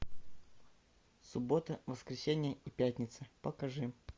суббота воскресенье и пятница покажи